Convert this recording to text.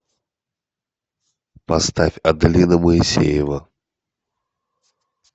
поставь аделина моисеева